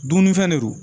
Dumunifɛn de don